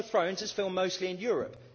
Game of Thrones is filmed mostly in Europe.